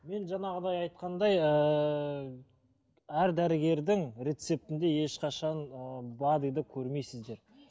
мен жаңағыдай айтқандай ыыы әр дәрігердің рецептінде ешқашан бад ыды көрмейсіздер